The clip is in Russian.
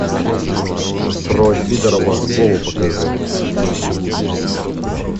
про сидорова вову покажи